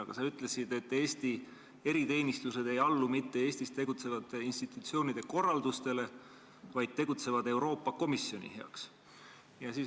Aga sa ütlesid, et Eesti eriteenistused ei allu mitte Eestis tegutsevate institutsioonide korraldustele, vaid tegutsevad Euroopa Komisjoni heaks.